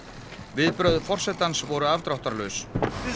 viðbrögð forsetans voru afdráttarlaus